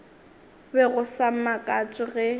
be go sa makatše ge